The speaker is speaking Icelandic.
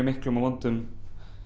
miklum og vondum